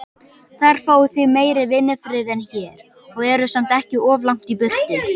Þar fáið þið meiri vinnufrið en hér, og eruð samt ekki of langt í burtu.